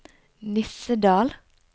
Nissedal